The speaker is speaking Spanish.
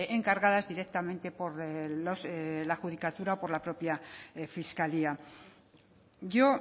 encargadas directamente por la judicatura por la propia fiscalía yo